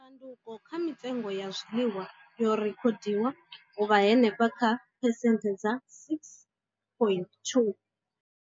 Tshanduko kha mitengo ya zwiḽiwa yo rekhodiwa u vha henefha kha phesenthe dza 6.2.